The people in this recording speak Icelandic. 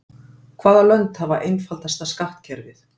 Hvaða lönd hafa einfaldasta skattkerfið?